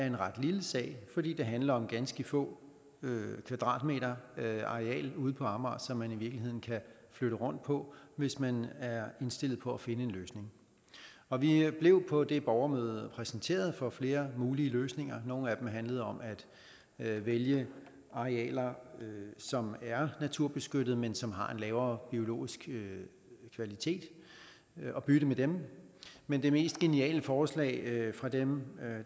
en ret lille sag fordi det handler om ganske få kvadratmeter ude på amager som man kan flytte rundt på hvis man indstillet på at finde en løsning og vi blev på det borgermøde præsenteret for flere mulige løsninger nogle af dem handlede om at vælge arealer som er naturbeskyttede men som har en lavere biologisk kvalitet og bytte med dem men det mest geniale forslag var fra dem